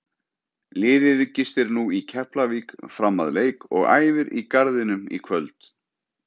Liðið gistir nú í Keflavík fram að leik og æfir í Garðinum í kvöld.